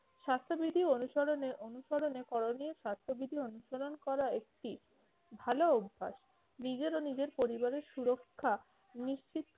স্বাস্থ্যবিধি অনুসরণে অনুসরণে করণীয় স্বাস্থ্যবিধি অনুসরণ করা একটি ভালো অভ্যাস। নিজের ও নিজের পরিবারের সুরক্ষা নিশ্চিত-